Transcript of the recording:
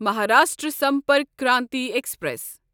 Maharashtra Sampark Kranti express